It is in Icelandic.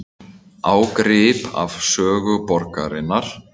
Ágrip af sögu borgarinnar